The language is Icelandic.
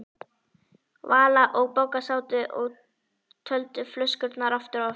Vala og Bogga sátu og töldu flöskurnar aftur og aftur.